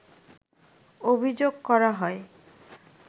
অভিযোগ করা হয়